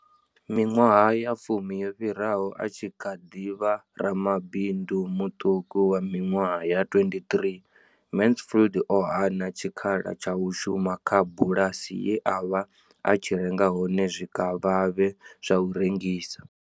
Miṅwaha ya fumi yo fhiraho, a tshi kha ḓi vha ramabindu muṱuku wa miṅwaha ya 23, Mansfield o hana tshikhala tsha u shuma kha bulasi ye a vha a tshi renga hone zwikavhavhe zwa u rengisa.